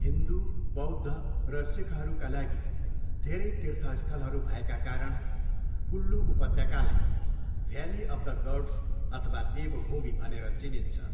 हिन्दू, बौद्ध र सिखहरूका लागि धेरै तीर्थस्थलहरू भएका कारण कुल्लु उपत्यकालाई भ्याली अफ द गड्स अथवा देवभूमि भनेर चिनिन्छ।